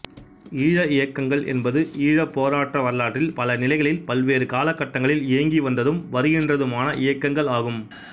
ஈழ இயக்கங்கள் என்பன ஈழ போராட்ட வரலாற்றில் பல நிலைகளில் பல்வேறு காலகட்டங்களில் இயங்கி வந்ததும் வருகின்றதுமான இயக்கங்கள் ஆகும்